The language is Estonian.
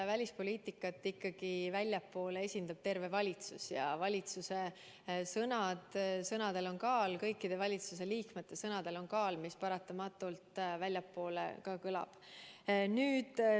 Välispoliitikat esindab väljaspool ikkagi terve valitsus ja valitsuse sõnadel on kaal, kõikide valitsusliikmete sõnadel on kaal, mis paratamatult ka väljapoole kõlab.